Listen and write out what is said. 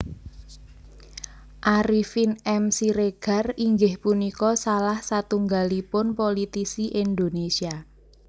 Arifin M Siregar inggih punika salah satunggalipun politisi Indonésia